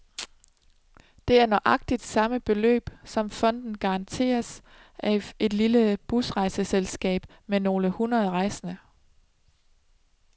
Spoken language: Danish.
Det er nøjagtigt samme beløb, som fonden garanteres af et lille busrejseselskab med nogle hundrede rejsende.